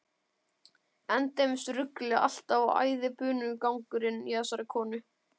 Endemis ruglið alltaf og æðibunugangurinn í þessari konu.